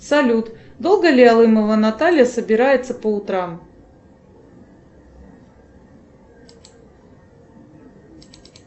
салют долго ли алымова наталья собирается по утрам